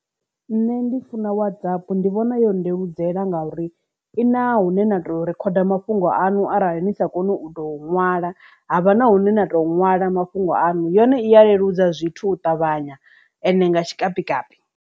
Nṋe ndi funa Whatsapp ndi vhona yo ndeludzela nga uri i na hune na tou rikhoda mafhungo aṋu arali ni sa koni u to nwala havha na hune na to nwala mafhungo aṋu yone i ya leludza zwithu u ṱavhanya ende nga tshikapikapi.